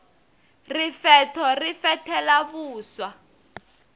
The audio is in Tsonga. rifetho ri fethela vuswa